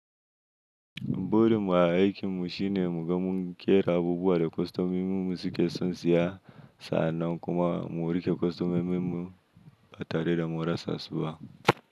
Burin mu, a aikin mu shine mu ga mun ƙera abubuwa da kostomo min mu suke son siya. Sa'annan kuma mu riƙe kostomo min mu, ba tare da mun rasa su ba.